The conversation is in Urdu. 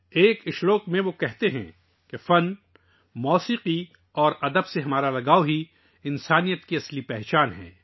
ایک شعر میں وہ کہتے ہیں کہ فن، موسیقی اور ادب سے لگاؤ ہی انسانیت کی اصل پہچان ہے